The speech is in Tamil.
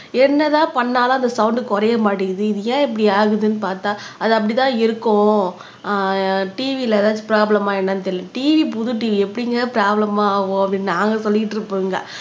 என்னதான் பண்ணாலும் அந்த சவுண்ட் குறைய மாட்டேங்குது இது ஏன் இப்படி ஆகுதுன்னு பார்த்தா அதுல அப்படிதான் இருக்கும் ஆஹ் TV ல எதாச்சும் ப்ரோப்லேமா என்னன்னு தெரியலே TV புது TV எப்படிங்கப்ரோப்லேமா ஆகும் அப்படின்னு நாங்க சொல்லிக்கிட்டு இருப்போம்ங்க